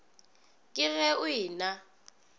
ke ge o e na